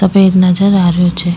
सफ़ेद नजर आ रहियो छे।